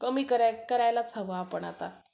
कमी करायलाच हवं आपण आता